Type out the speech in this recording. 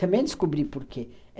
Também descobri por quê.